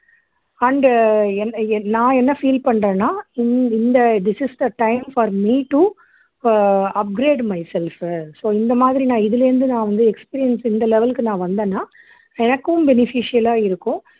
and என் என் நான் என்ன feel பண்றேன்னா இந் இந்த this is the time for me to ah upgrade myself uh so இந்த மாதிரி நான் இதுல இருந்து நான் வந்து experience இந்த level க்கு நான் வந்தேன்னா எனக்கும் beneficial ஆ இருக்கும்